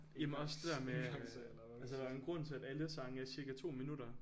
Jamen også det der med øh altså der er jo en grund til at alle sange er cirka 2 minutter